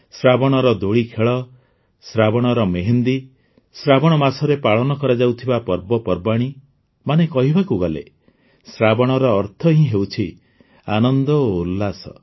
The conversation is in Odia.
ଶ୍ରାବଣର ଦୋଳିଖେଳ ଶ୍ରାବଣର ମେହେନ୍ଦି ଶ୍ରାବଣ ମାସରେ ପାଳନ କରାଯାଉଥିବା ପର୍ବପର୍ବାଣୀ ମାନେ କହିବାକୁ ଗଲେ ଶ୍ରାବଣର ଅର୍ଥ ହିଁ ହେଉଛି ଆନନ୍ଦ ଓ ଉଲ୍ଲାସ